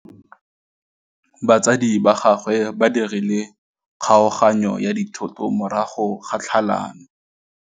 Batsadi ba gagwe ba dirile kgaoganyô ya dithoto morago ga tlhalanô.